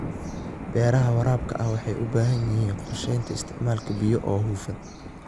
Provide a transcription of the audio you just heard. Beeraha waraabka ahi waxay u baahan yihiin qorshaynta isticmaalka biyaha oo hufan.